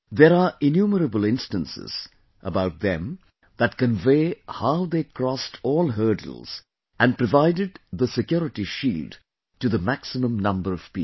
There are innumerable instances about them that convey how they crossed all hurdles and provided the security shield to the maximum number of people